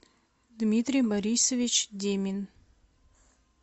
дмитрий борисович демин